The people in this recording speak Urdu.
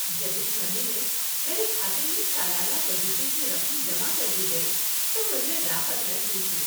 جب اس مہینے میرے کھاتے میں سالانہ وظیفے کی رقم جمع کر دی گئی تو مجھے راحت محسوس ہوئی۔